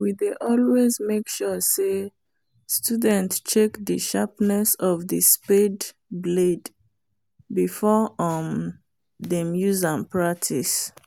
we dey always make sure say student check the sharpness of the spade blade before um them use am practice